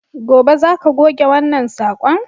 Gobe, za ka goge wannan sakon!